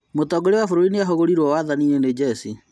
Mũtongoria wa bũrũri nĩahagũrirwo wathani-inĩ nĩ njeci